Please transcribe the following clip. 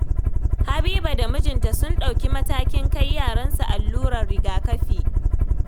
Habiba da mijinta sun ɗauki matakin kai yaransu allurar rigakafi